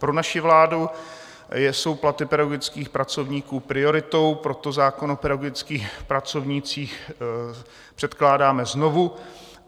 Pro naši vládu jsou platy pedagogických pracovníků prioritou, proto zákon o pedagogických pracovnících předkládáme znovu.